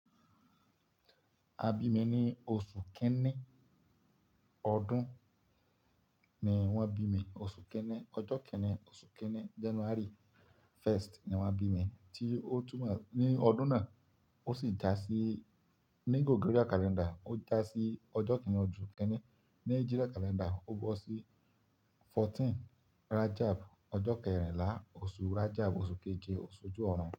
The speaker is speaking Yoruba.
A bi mi ni oṣu kini ọdun ni wọn bi mi, oṣu kini, ọjọ kini, oṣu kini January first ni wọn bi mi, ti o tún mọ ni ọdun naa o si ja si ni Gregorian calendar o ja si ọjọ kini ọsun kini. Ni Hijra calendar o gbọ si fourteen Rajab, ọjọ kẹrinla oṣu Rajab, oṣu keje oṣu oju ọrun.